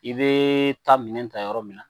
I bee taa minɛn ta yɔrɔ min na